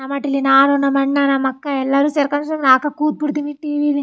ನಮಾಟಿಲಿ ನಾನು ನಮ್ ಅಣ್ಣಾ ನಮ್ ಅಕ್ಕಾ ಎಲ್ಲಾರು ಸೇರ್ಕೊಂದು ಸುಮ್ಮನೆ ಹಾಕ ಕುತ್ ಬಿಡತ್ತಿವಿ ಟಿವಿನೆ .